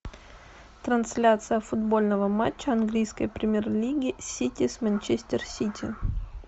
трансляция футбольного матча английской премьер лиги сити с манчестер сити